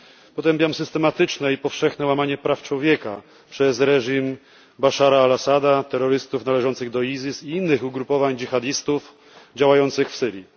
Potępiam systematyczne i powszechne łamanie praw człowieka przez reżim Baszara al Assada, terrorystów należących do ISIS i innych ugrupowań dżihadystów działających w Syrii.